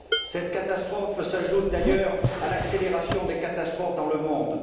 Cette catastrophe s'ajoute d'ailleurs à l'accélération des catastrophes dans le monde.